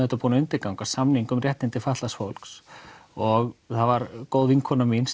búin að undirgangast samning um réttindi fatlaðs fólks og það var góð vinkona mín